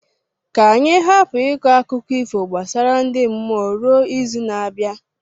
Ka anyị hapụ ịkọ akụkọ ifo gbasara ndi mmụọ ruo izu na-abịa.